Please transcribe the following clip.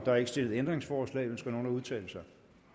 er ikke stillet ændringsforslag ønsker nogen at udtale sig